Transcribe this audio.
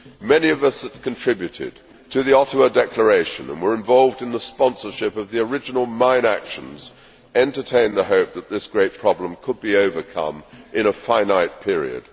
Many of us who contributed to the Ottawa Declaration and were involved in the sponsorship of the original mine actions' entertained the hope that this great problem could be overcome in a finite period.